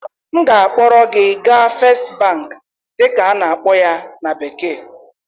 M ga-akpọrọ gị gaa First Bank dịka a na-akpọ ya na bekee